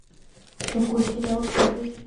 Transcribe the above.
какой сериал посмотреть